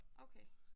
Okay